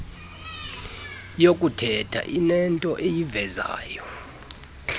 yokuthetha inento eyivezayo